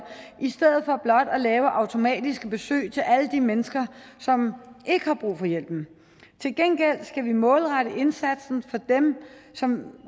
i stedet for blot at lave automatiske besøg til alle de mennesker som ikke har brug for hjælpen til gengæld skal vi målrette indsatsen til dem som